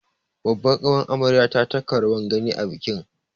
Babbar ƙawar amaryar ta taka rawar gani a bikin